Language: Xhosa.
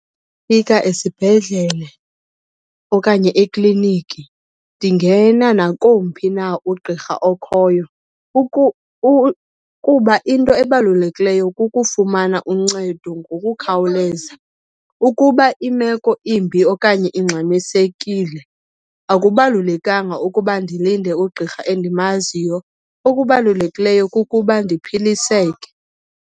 fika esibhedlele okanye ekliniki ndingena nakomphi na ugqirha okhoyo kuba into ebalulekileyo kukufumana uncedo ngokukhawuleza. Ukuba imeko imbi okanye ingxamisekile akubalulekanga ukuba ndilinde ugqirha endimaziyo, okubalulekileyo kukuba ndiphiliseke.